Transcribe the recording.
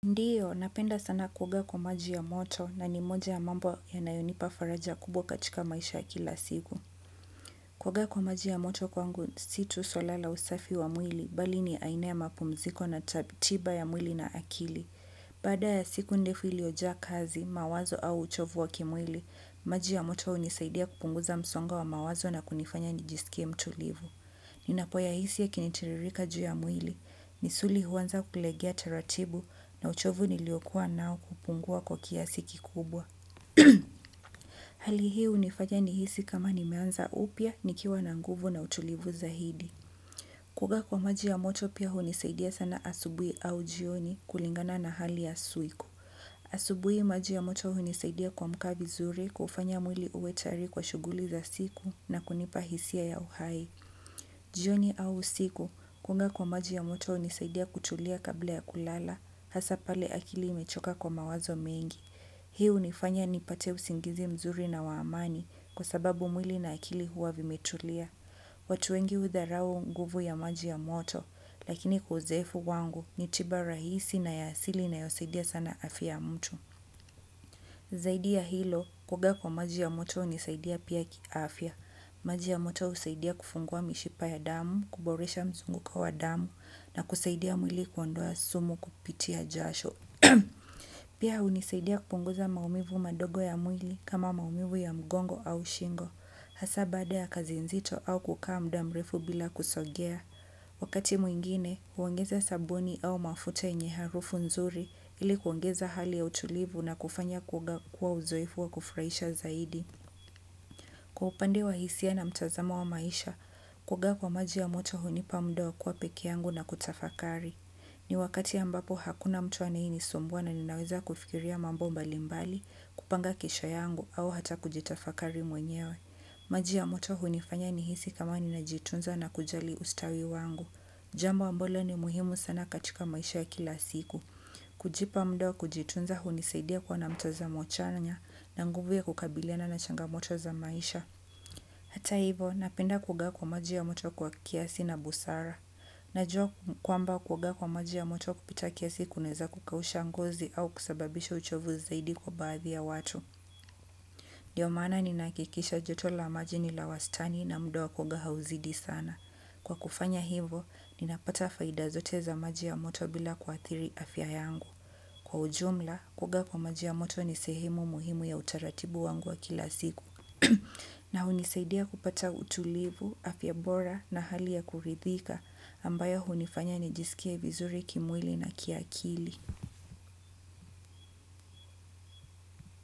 Ndiyo, napenda sana kuoga kwa maji ya moto na ni moja ya mambo yanayonipa faraja kubwa katika maisha ya kila siku. Kuoaga kwa maji ya moto kwangu, si tu swala la usafi wa mwili, bali ni aina ya mapumziko na tiba ya mwili na akili. Baada ya siku ndefu iliyojaa kazi, mawazo au uchovu wa kimwili, maji ya moto hunisaidia kupunguza msongo wa mawazo na kunifanya nijisikie mtulivu. Ninapoyahisi yakinitiririka juu ya mwili, misuli huanza kulegea taratibu na uchovu niliokuwa nao kupungua kwa kiasi kikubwa. Hali hii hunifanya nihisi kama nimeanza upya, nikiwa na nguvu na utulivu zaidi. Kuoga kwa maji ya moto pia hunisaidia sana asubuhi au jioni kulingana na hali ya siku. Asubuhi maji ya moto hunisaidia kuamka vizuri kuufanya mwili uwe tayari kwa shughuli za siku na kunipa hisia ya uhai. Jioni au usiku, kuoga kwa maji ya moto hunisaidia kutulia kabla ya kulala hasa pale akili imechoka kwa mawazo mengi. Hii hunifanya nipate usingizi mzuri na wa amani kwa sababu mwili na akili huwa vimetulia. Watu wengi hudharau nguvu ya maji ya moto lakini kwa uzoefu wangu ni tiba rahisi na ya asili inayosaidia sana afya ya mtu. Zaidi ya hilo, kuoga kwa maji ya moto hunisaidia pia kiafya. Maji ya moto husaidia kufungua mishipa ya damu, kuboresha mzunguko wa damu na kusaidia mwili kuondoa sumu kupitia jasho. Pia hunisaidia kupunguza maumivu madogo ya mwili kama maumivu ya mgongo au shingo. Hasa baada ya kazi nzito au kukaa muda mrefu bila kusogea. Wakati mwingine, huongeza sabuni au mafuta yenye harufu nzuri ili kuongeza hali ya utulivu na kufanya kuoga kuwa uzoefu wa kufurahisha zaidi. Kwa upande wa hisia na mtazamo wa maisha kuoga kwa maji ya moto hunipa muda wa kuwa peke yangu na kutafakari. Ni wakati ambapo hakuna mtu anaye nisumbua na ninaweza kufikiria mambo mbali mbali, kupanga kesho yangu au hata kujitafakari mwenyewe. Maji ya moto hunifanya nihisi kama ninajitunza na kujali ustawi wangu. Jambo ambalo ni muhimu sana katika maisha ya kila siku. Kujipa muda wa kujitunza hunisaidia kuwa na mtazamo chanya na nguvu ya kukabiliana na changamoto za maisha. Hata hivo napenda kuoga kwa maji ya moto kwa kiasi na busara. Najua kwamba kuoga kwa maji ya moto kupita kiasi kunaweza kukausha ngozi au kusababisha uchovu zaidi kwa baadhi ya watu. Ndio maana ninahakikisha joto la maji ni la wastani na muda wa kuoga hauzidi sana. Kwa kufanya hivo, ninapata faida zote za maji ya moto bila kuathiri afya yangu. Kwa ujumla, kuoga kwa maji ya moto ni sehemu muhimu ya utaratibu wangu wa kila siku. Na hunisaidia kupata utulivu, afya bora na hali ya kuridhika ambayo hunifanya nijisikie vizuri kimwili na kiakili.